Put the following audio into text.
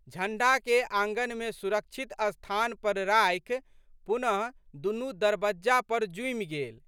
झंड़ाके आँगनमे सुरक्षित स्थान पर राखि पुनः दुनू दरबज्जा पर जुमि गेल।